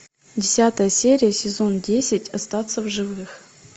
десятая серия сезон десять остаться в живых